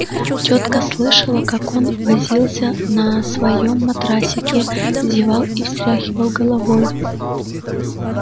тётка слышала как он возился на своём матрасике зевал и встряхивал головой